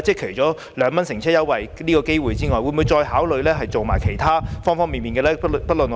除2元乘車優惠外，政府會否考慮再推行各方面的措施呢？